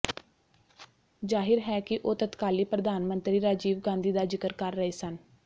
ਜ਼ਾਹਿਰ ਹੈ ਕਿ ਉਹ ਤਤਕਾਲੀ ਪ੍ਰਧਾਨ ਮੰਤਰੀ ਰਾਜੀਵ ਗਾਂਧੀ ਦਾ ਜ਼ਿਕਰ ਕਰ ਰਹੇ ਸਨ